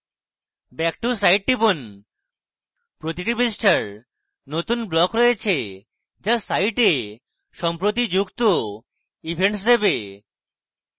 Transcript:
back to site টিপুন প্রতিটি পৃষ্ঠার নতুন block রয়েছে যা site সম্প্রতি যুক্ত events দেবে